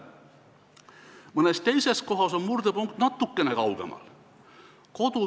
Mõnes teises kohas on murdepunkt natukene kaugemal.